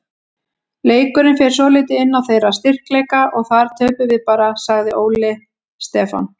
Leikurinn fer svolítið inn á þeirra styrkleika og þar töpum við bara, sagði Óli Stefán.